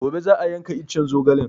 Gobe za a yanka iccen zogalen